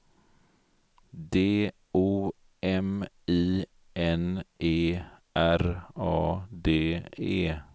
D O M I N E R A D E